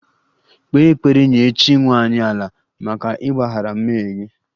Kpee ekpere nye chi nwanyị 'ala' maka ịgbaghara mmehie gị!